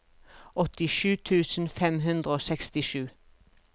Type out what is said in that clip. åttisju tusen fem hundre og sekstisju